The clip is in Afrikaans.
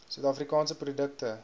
suid afrikaanse produkte